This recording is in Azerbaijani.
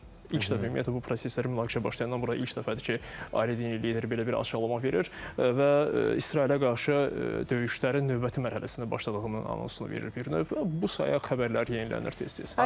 İlk dəfə ümumiyyətlə bu prosesləri münaqişə başlayandan bura ilk dəfədir ki, Ailə lideri belə bir açıqlama verir və İsrailə qarşı döyüşlərin növbəti mərhələsinə başladığının anonsunu verib bir növ və bu saya xəbərlər yenilənir tez-tez.